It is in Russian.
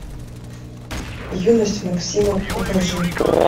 юность максима покажи